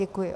Děkuji.